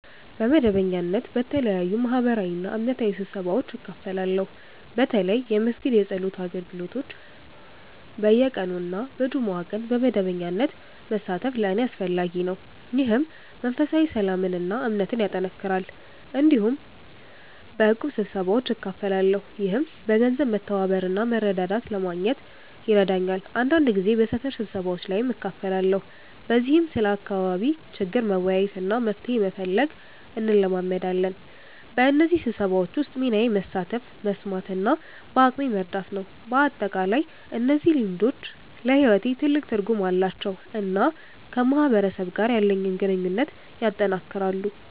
በመደበኛነት በተለያዩ ማህበራዊና እምነታዊ ስብሰባዎች እካፈላለሁ። በተለይ የመስጊድ የጸሎት አገልግሎቶች በየቀኑ እና በጁምዓ ቀን በመደበኛነት መሳተፍ ለእኔ አስፈላጊ ነው፣ ይህም መንፈሳዊ ሰላምን እና እምነትን ያጠናክራል። እንዲሁም በእቁብ ስብሰባዎች እካፈላለሁ፣ ይህም በገንዘብ መተባበር እና መረዳዳት ለማግኘት ይረዳኛል። አንዳንድ ጊዜ በሰፈር ስብሰባዎች ላይም እካፈላለሁ፣ በዚህም ስለ አካባቢ ችግር መወያየት እና መፍትሄ መፈለግ እንለማመዳለን። በእነዚህ ስብሰባዎች ውስጥ ሚናዬ መሳተፍ፣ መስማት እና በአቅሜ መርዳት ነው። በአጠቃላይ እነዚህ ልምዶች ለሕይወቴ ትልቅ ትርጉም አላቸው እና ከማህበረሰብ ጋር ያለኝን ግንኙነት ያጠናክራሉ።